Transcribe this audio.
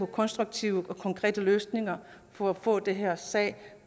konstruktive og konkrete løsninger for at få den her sag